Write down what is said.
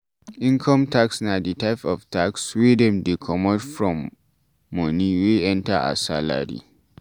Income tax na di type of tax wey dem dey comot form money wey enter as salary